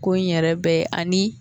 Ko in yɛrɛ bɛ ani